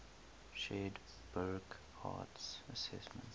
shared burckhardt's assessment